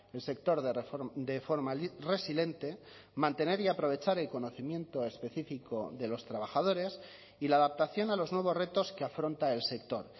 el sector de forma resiliente mantener y aprovechar el conocimiento específico de los trabajadores y la adaptación a los nuevos retos que afronta el sector